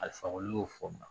Ali fakɔli y'o fɔ muna